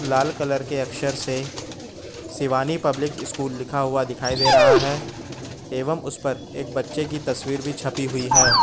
लाल colour के अक्षर से शिवानी पब्लिक स्कूल लिखा हुआ दिखाई दे रहा है एवं उस पर एक बच्चे की तस्वीर भी छपी हुई है।